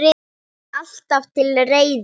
Alltaf til reiðu!